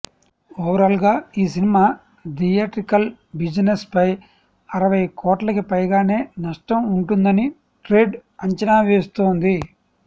ఓవరాల్గా ఈ cinema theatrical బిజినెస్పై అరవై కోట్లకి పైగానే నష్టం వుంటుందని ట్రేడ్ అంచనా వేస్తోంది